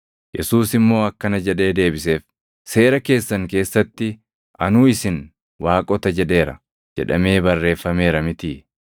Yesuus immoo akkana jedhee deebiseef; “Seera keessan keessatti, ‘Anuu isin, “waaqota” jedheera’ + 10:34 \+xt Far 82:6\+xt* jedhamee barreeffameera mitii?